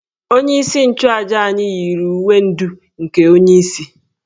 Onyeisi nchuàjà anyi yiri uwe ndú nke onyeisi